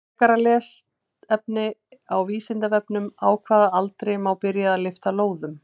Frekara lesefni á Vísindavefnum: Á hvaða aldri má byrja að lyfta lóðum?